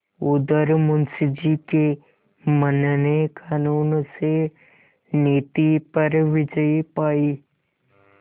उधर मुंशी जी के मन ने कानून से नीति पर विजय पायी